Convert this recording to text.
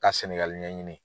Ka Sɛnɛgali ɲɛɲini.